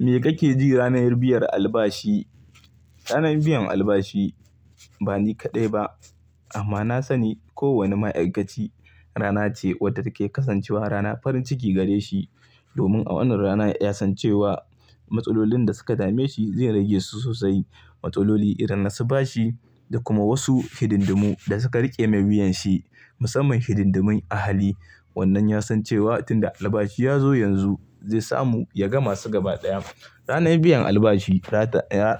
Me kake ji ranar biyan albashi? Ranar biyan albashi ba ni kaɗai ba amma na sani kowane ma'aikaci rana ce wadda take kasancewa rana farin ciki gare shi. Domin a wannan rana ya san cewa matsalolin da suka dame shi zai rage su sosai, matsaloli idan na su bashi da kuma wasu hidindumu da suka riƙe mai wuyan shi musamman hidindumin ahali. Wannan ya san cewa tunda albashi ya zo yanzu zai samu ya ga masu gaba ɗaya. Ranar biyan albashi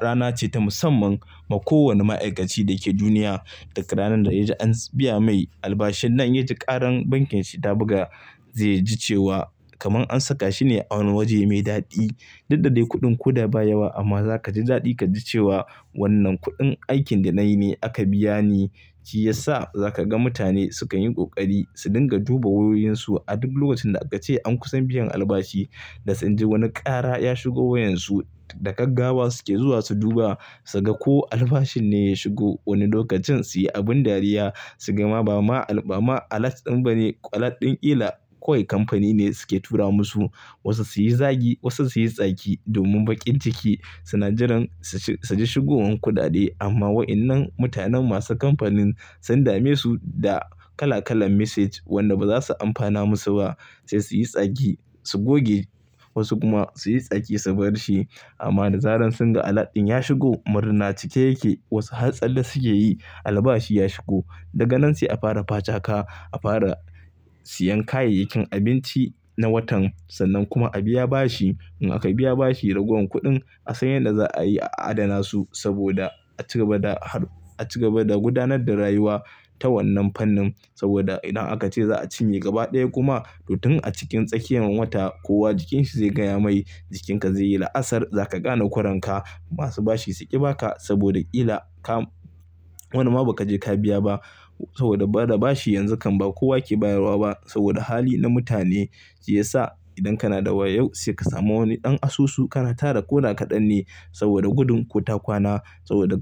rana ce ta musamman ma ko wanne ma'aikaci da ke duniya. Duk ranar da ya ji an biya mai albashin nan ya ji ƙaran bankin shi ta buga zai ji cewa kaman an saka shi ne a wani waje mai daɗi. Duk da de kuɗin ko da ba yawa amma za ka ji daɗi ka ji cewa wannan kuɗin aikin da na yi me aka biya ni. Shi ya sa za ka ga mutane sukan yi ƙoƙari su dinga duba wayoyin su a duk lokacin da aka ce an kusan biyan albashi da sun ji wani ƙara ya shigo wayan su da gaggawa su ke zuwa su duba su ga ko albashin ne ya shigo. Wani lokacin su yi abin dariya su ga ma ba alert ɗin ba ne alert ɗin ƙila kawai kamfani ne suke tura masu. Wasu su yi zagi, wasu su yi tsaki domin bakin ciki suna jiran su ji shigowar kuɗaɗe. Amma wa'innan mutanen masu kamfanin sun dame su da kala kalan message wanda ba za su amfana masu ba sai su yi tsaki su goge wasu kuma su yi tsaki su bar shi. Amma nazarin sun ga alert ɗin ya shigo murna cike yake. Wasu har tsala suke yi albashi ya shigo daga nan sai a fara bacaka. A fara siyan kayyakin abinci na watan kuma a biyan bashi. In aka biya bashi ragowar kuɗin a san yadda za a yi a adana su saboda a cigaba da, a cigaba da gudanar da rayuwa ta wannan fannin. Saboda idan aka ce za a cinye gaba ɗaya kuma to tun a cikin tsakiyar wata kowa jikin shi zai gaya mai, jikin ka zai yi la'asar. Za ka ƙana koren ka masu bashi su ƙi ba ka saboda ƙila ka, wannan ma ba ka je ka biya ba. Saboda bada bashi yanzu kam ba kowa ke bayarwa ba saboda hali na mutane shi ya sa idan kana da wayo sai ka samu wani ɗan asusu kana tara koda kaɗan ne saboda gudun ku ta kwana saboda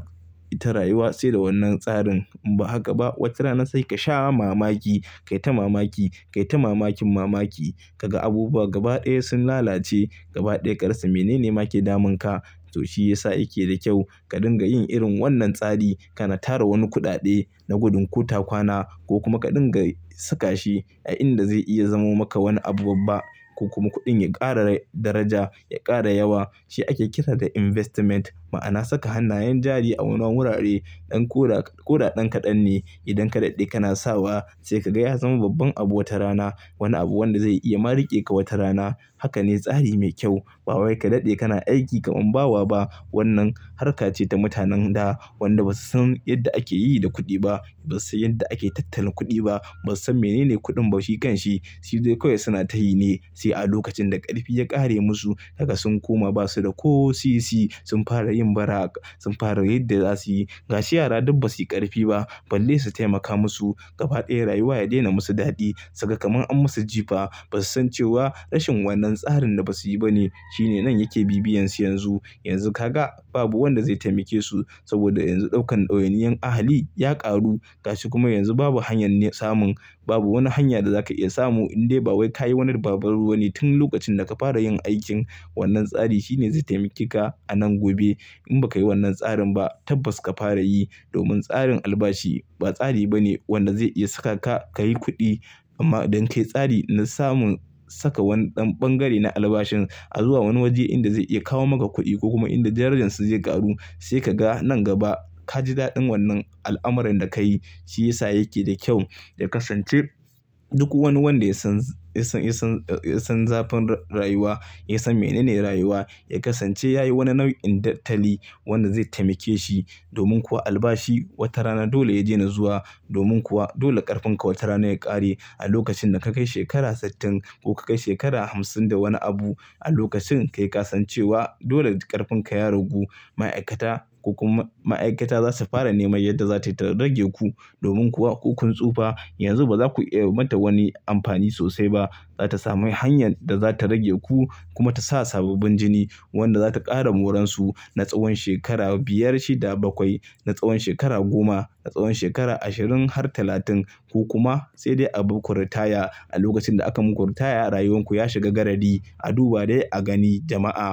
ita rayuwa sai da wannan tsarin. Ba haka ba watrana sai ka sha mamaki, kai ta mamaki, kai ta mamakin mamaki ka ga abubuwa gaba ɗaya sun lalace. Gaba ɗaya ƙarsu. Mene ne ma ke damun ka? To shi ya sa yake da kyau ka dinga yin irin wannan tsari. Kana tara wani kudade da gudun kuta kwana. Ko kuma ka dinga suka shina inda zai iya zama maka wani abun ba. Ko kuma kudin ya kara rai daraja ya kara yawa. Shi ake kira da investment ma'ana saka hannayen jari a wani wurare. Dan koda ɗan kaɗan ne idan ka daɗe kana sawa sai ka ga ya zama babban abu wata rana. Wani abu wanda zai iya ma riƙe ka wata rana. Haka ne tsari mai kyau. Ba wai ka daɗde kana aiki kaman bawa ba. Wannan harka ce ta mutanen da wanda ba su san yadda ake yi da kuɗi ba. Ba su san yadda ake tattalin kuɗi ba. Ba su san mene ne kuɗin ba shi kan shi. Shide kawai suna tayi ne sai a lokacin karfi ya karai musu kagan sun koma basu da ko sisi sun far yin. Sun fara yi da za su yi. Gashi yara duk ba su yi ƙarfi ba balle su taimaka musu. Gaba ɗaya rayuwa ya daina musu daɗi. Saka kaman an musu jifa. Basu san cewa, rashin wannan tsarin da basu yi bane. Shine nan yake bi-biyansu yanzu. Yanzu ka ga babu wanda zai taimake su saboda yanzu ɗaukan ɗawainiyar ahali ya ƙaru gashi kuma yanzu babu hanyar samun. Babu wani hanya da za ka iya samu inde ba wai ka yi wannan babbar ruwanin tun lokacin da ka fara yin aikin. Wannan tsari shine zai taimake ka a nan gobe. In ba ka yi wannan tsarin ba tabbas ka fara yi domin tsarin albashi ba tsari bane wanda zai iya saka ka, ka yi kuɗi amma don ka yi tsari na samun saka wani ɗan ɓangare na albashin a zuwa wani waje inda zai iya kawo maka kuɗi ko kuma inda darajan su zai ƙaru. Sai ka ga nan gaba ka ji daɗin wannan al'amarin da ka yi. Shi ya sa yake da kyau. Da kasance duk wani wanda ya san, ya san, ya san, ya san zafin rayuwa ya san menene rayuwa ya kasance ya yi wani nau'in tattali wanda zai taimake shi. Domin kuwa albashi wata rana dole ya daina zuwa. Domin kuwa dole ƙarfin ka wata rana ya ƙare. A lokacin da ka kai shekara sittin ko ka kai shekara hamsin da wani abu a lokacin kai ƙasan cewa dole ƙarfin ka ya ragu. Ma'aikata ko kuma ma'aikata za su fara neman yadda za su iya rage ku. Domin kuwa hukuncin tsufa yanzu ba za ku iya mata wani amfani sosai ba. Za ta sami hanyar da za ta rage ku kuma ta sa sababbin jini wanda za ta ƙara moran su na tsawon shekara biyar shi da bakwai, na tsawon shekara goma, na tsawon shekara ashirin har talatin ko kuma sai dai a bu ku ritaya a lokacin da aka muku ritaya rayuwar ku ya shiga garadi a duba dai a gani jama'a.